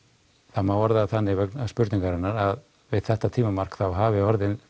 það má orða það þannig vegna spurningarinnar að við þetta tímamark hafi